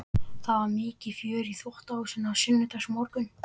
Það var mikið fjör í þvottahúsinu á sunnudagsmorgnum.